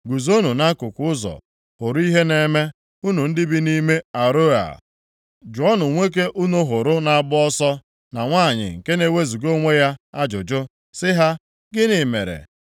Guzonụ nʼakụkụ ụzọ, hụrụ + 48:19 Ya bụ, Lee ihe na-eme, unu ndị bi nʼime Aroea. Jụọnụ nwoke unu hụrụ na-agba ọsọ, na nwanyị nke na-ewezuga onwe ya ajụjụ sị ha, ‘Gịnị mere?’